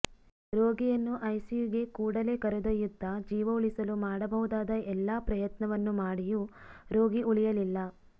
ರೋಗಿಯನ್ನು ಐಸಿಯುಗೆ ಕೂಡಲೇ ಕರೆದೊಯ್ಯುತ್ತಾ ಜೀವ ಉಳಿಸಲು ಮಾಡಬಹುದಾದ ಎಲ್ಲಾ ಪ್ರಯತ್ನವನ್ನು ಮಾಡಿಯೂ ರೋಗಿ ಉಳಿಯಲಿಲ್ಲ